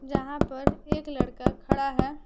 जहां पर एक लड़का खड़ा है।